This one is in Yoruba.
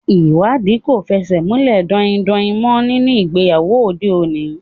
Ìwádìí kò fẹsẹ̀ múlẹ̀ daindain mọ́ nínú ìgbéyàwó òde òní.